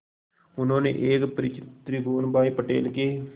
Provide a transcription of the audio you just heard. उन्होंने एक परिचित त्रिभुवन भाई पटेल के